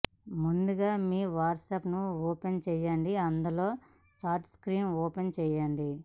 ముందుగా మీ WhatsApp open చేయండి అందులో ఛాట్ స్క్రీన్ ఓపెన్ చేయండి